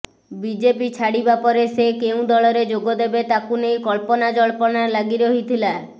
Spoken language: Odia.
ବିଜେପି ଛାଡିବାପରେ ସେ କେଉଁ ଦଳରେ ଯୋଗ ଦେବେ ତାକୁ ନେଇ କଳ୍ପନା ଜଳ୍ପନା ଲାଗି ରହିଥିଲା